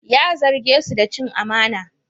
Ya zarge su da cin amana.